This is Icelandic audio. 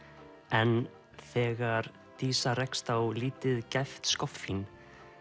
en þegar dísa rekst á lítið gæft skoffín